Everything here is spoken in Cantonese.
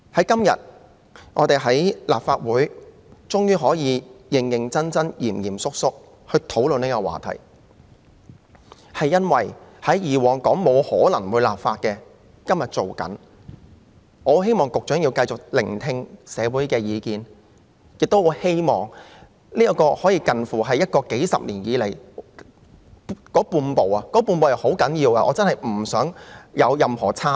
今天我們在立法會終於可以認真及嚴肅地討論這個話題，是因為過往認為沒有可能會立法的事情，現時正在進行立法，我希望局長能繼續聆聽社會的意見，亦很希望這可說是數十年來才踏出的半步——這是很重要的半步——真的不可有任何差池。